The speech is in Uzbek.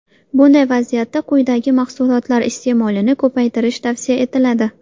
Bunday vaziyatda quyidagi mahsulotlar iste’molini ko‘paytirish tavsiya etiladi.